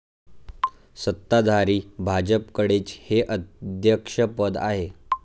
सत्ताधारी भाजपकडेच हे अध्यक्षपद आहे.